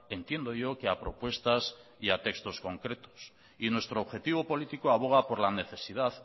entiendo yo que a propuestas y textos concretos y nuestro objetivo político aboga por la necesidad